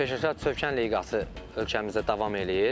Peşəkar Çövkən liqası ölkəmizdə davam eləyir.